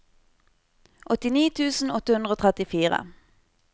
åttini tusen åtte hundre og trettifire